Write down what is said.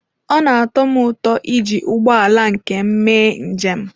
Ọ na-atọ m ụtọ iji ụgbọ ala nke m mee njem.